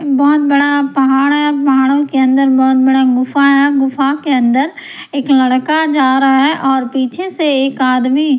बहुत बड़ा पहाड़ है पहाड़ों के अंदर बहुत बड़ा गुफा है गुफा के अंदर एक लड़का जा रहा है और पीछे से एक आदमी --